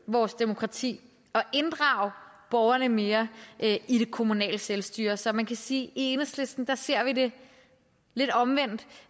vores demokrati og inddrage borgerne mere i det kommunale selvstyre så man kan sige i enhedslisten ser det lidt omvendt